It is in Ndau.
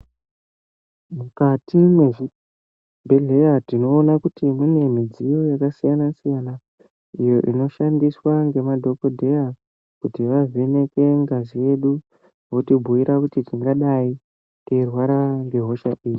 Mukati mezvibhedhlera tinoona kuti mune midziyo yakasiyana siyana inoshandiswa nemadhokodheya kuti avheneke ngazi yedu, wotibhuira kuti tingadai teirwara ngehosha ipi.